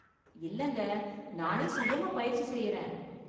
இல்லங்க, நானே சுயமா பயிற்சி செய்யறேன்.